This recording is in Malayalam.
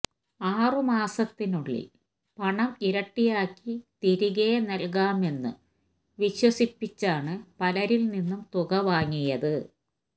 ആറു മാസത്തിനുള്ളിൽ പണം ഇരട്ടിയാക്കി തിരികെ നൽകാമെന്നു വിശ്വസിപ്പിച്ചാണ് പലരിൽനിന്നു തുക വാങ്ങിയത്